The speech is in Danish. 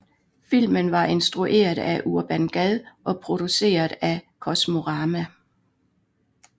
Filmen var instrueret af Urban Gad og produceret af Kosmorama